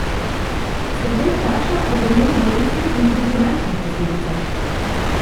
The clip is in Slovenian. Se kdo vpraša o bremenu bolezni in tudi finančnih posledicah?